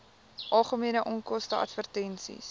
algemene onkoste advertensies